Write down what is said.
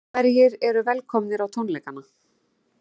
En hverjir eru velkomnir á tónleikana?